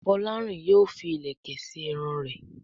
Folarin yóò fí ilẹkẹ sí Irun rẹ.